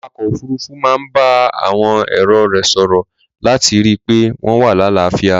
Awakọ̀ òfuruufu máa ń bá àwọn èrò rẹ̀ sòrò láti rí i pé wọn wà láàáfíà.